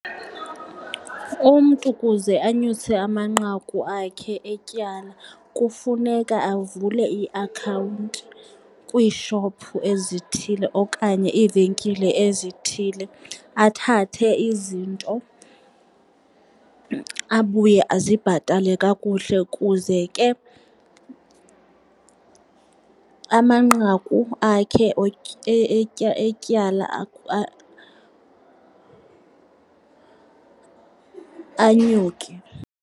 Umntu kuze anyuse amanqaku akhe etyala kufuneka avule iiakhawunti kwiishophu ezithile okanye iivenkile ezithile, athathe izinto, abuye azibhatale kakuhle kuze ke amanqaku akhe etyala anyuke.